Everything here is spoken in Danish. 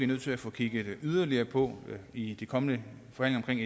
nødt til at få kigget mere på i de kommende forhandlinger